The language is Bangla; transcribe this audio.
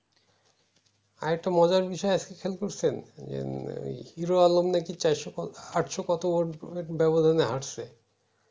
আরেকটা মজার বিষয় আজকে খেয়াল করছেন হিরো আলম নাকি চারশো কত আটশো কত ব্যবধানে হাটছে